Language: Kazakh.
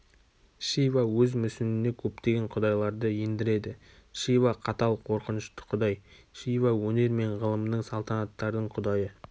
шива өз мүсініне көптеген құдайларды ендіреді шива қатал қорқынышты құдай шива өнер мен ғылымның салтанаттардың құдайы